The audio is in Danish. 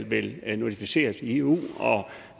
vel skal notificeres i eu